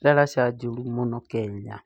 ndaraca njũru mũno Kenya